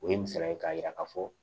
O ye misaliya ye k'a yira ka fɔ